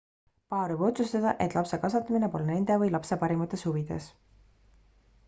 paar võib otsustada et lapse kasvatamine pole nende või lapse parimates huvides